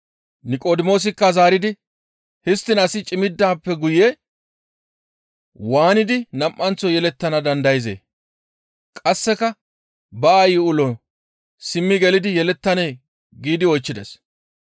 Niqodimoosikka zaaridi, «Histtiin asi cimmidaappe guye waanidi nam7anththo yelettana dandayzee? Qasseka ba aayi ulon simmi gelidi yelettanee?» giidi oychchides.